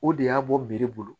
O de y'a bɔ biri bolo